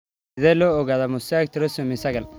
Sidee loo ogaadaa mosaic trisomy sagal?